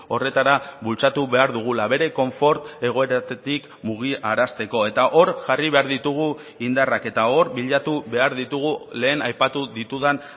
horretara bultzatu behar dugula bere konfort egoeratik mugiarazteko eta hor jarri behar ditugu indarrak eta hor bilatu behar ditugu lehen aipatu ditudan